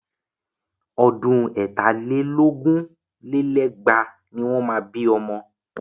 Ọdún ẹ̀ta lé lógún lé lẹ́gbàá ni wọ́n máa bí ọmọ.